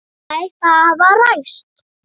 Þær hafa ræst.